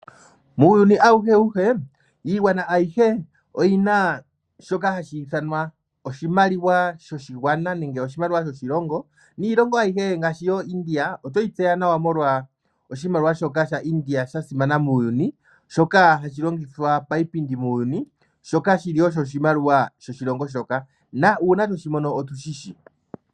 Muuyuni awuhe wuhe iingwana ayihe oyina shoka hashithanwa oshimaliwa shoshingwana nenge oshimaliwa shoshilongo, niilongo ayihe ngashi yo India otweyi tseya nawa molwa oshimaliwa shoka sha India shasimana muuyuni, shoka hashi longithwa payipindi muuyuni shoka shili osho oshimaliwa shoshilongo shoka na owuna tweshimono otu shishi.